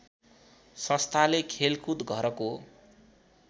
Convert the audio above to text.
संस्थाले खेलकुद घरको